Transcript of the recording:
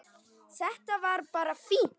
Þetta var bara fínt.